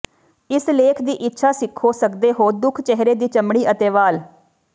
ਇਸ ਲੇਖ ਦੀ ਇੱਛਾ ਸਿੱਖੋ ਸਕਦੇ ਹੋ ਦੁੱਖ ਚਿਹਰੇ ਦੀ ਚਮੜੀ ਅਤੇ ਵਾਲ